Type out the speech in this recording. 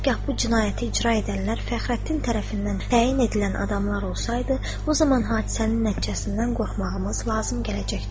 Hər hal bu cinayəti icra edənlər Fəxrəddin tərəfindən təyin edilən adamlar olsaydı, o zaman hadisənin nəticəsindən qorxmağımız lazım gələcəkdir.